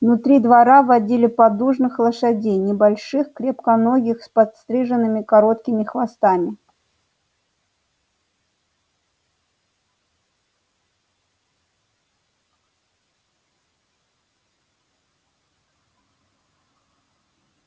внутри двора водили поддужных лошадей небольших крепконогих с подстриженными короткими хвостами